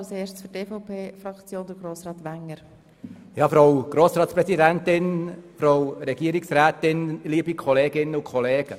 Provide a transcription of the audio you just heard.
Als erster Fraktionssprecher hat Grossrat Wenger von der EVPFraktion das Wort.